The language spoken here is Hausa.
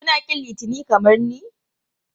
Kuna ƙin Litinin kamar ni?